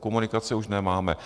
komunikace už nemáme.